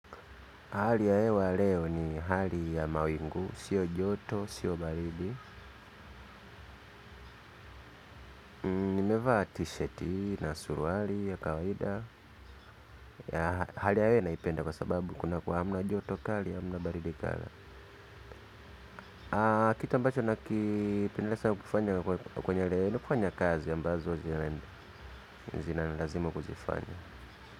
Hali ya hewa leo ni hali ya mawingu, sio joto, sio baridi. Nimevaa t-shirt na suruari ya kawaida. Hali ya hewa naipenda kwa sababu kunakuwa hamna joto kali, hamna baridi kali. Kitu ambacho nakipendelezwa kufanya kwenye leo, ni kufanya kazi ambazo zinanilazimu kuzifanya.